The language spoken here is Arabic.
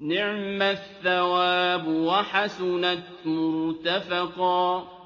نِعْمَ الثَّوَابُ وَحَسُنَتْ مُرْتَفَقًا